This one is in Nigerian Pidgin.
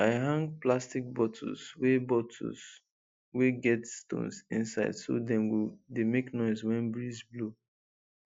i hang plastic bottles wey bottles wey get stones inside so dem go dey make noise when breeze blow